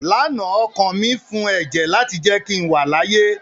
Lánàá ọkàn mi fún ẹ̀jẹ̀ láti jẹ́ kí n wà láàyè